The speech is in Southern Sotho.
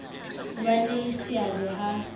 ho ba le seabo ha